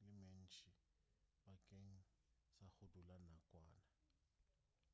ye mentši bakeng sa go dula nakwana